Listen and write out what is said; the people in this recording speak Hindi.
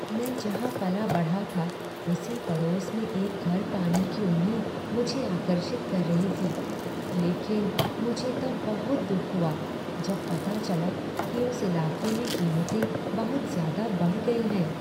मैं जहाँ पला बढ़ा था उसी पड़ोस में एक घर पाने की उम्मीद मुझे आकर्षित कर रही थी, लेकिन मुझे तब बहुत दुख हुआ जब पता चला कि उस इलाके में कीमतें बहुत ज्यादा बढ़ गई हैं।